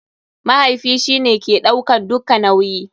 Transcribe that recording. Mahaifi shi ne ke ɗaukan dukka nauyi.